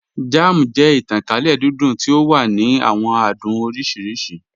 Jam jẹ̀ ìtànkálẹ̀ dídùn tí o wà ní àwọn àdùn oríṣiríṣì.